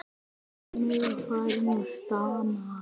Gunni var farinn að stama.